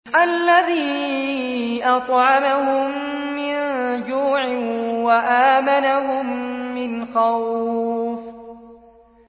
الَّذِي أَطْعَمَهُم مِّن جُوعٍ وَآمَنَهُم مِّنْ خَوْفٍ